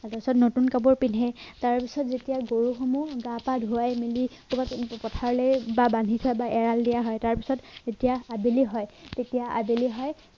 তাৰপাছত নতুন কাপোৰ পিন্ধে তাৰপাছত যেতিয়া গৰুহনো গা পা ধোৱাই মেলি কৰবাত এনেকে পথাৰলে বা বান্ধি থোৱা বা এৰাল দিয়া হয় তাৰপাছত যেতিয়া আবেলি হয় তেতিয়া আবেলি হয়